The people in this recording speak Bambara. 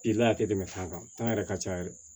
I la a tɛ tɛmɛ fɛn kan yɛrɛ ka ca yɛrɛ